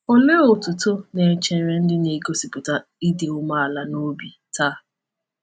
Olee otuto na-echere ndị na-egosipụta ịdị umeala n’obi taa?